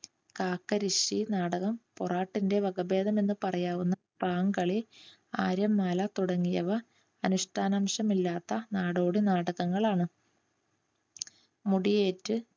കാക്കരിശ്ശി നാടകം പൊറാട്ടിന്റെ വകഭേദം എന്ന് പറയാവുന്ന പാങ്കളി ആര്യമ്മാല തുടങ്ങിയവ അനുഷ്ഠനാംശം ഇല്ലാത്ത നാടോടി നാടകങ്ങളാണ്. മുടിയേറ്റ്,